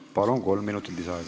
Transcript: Jah, palun!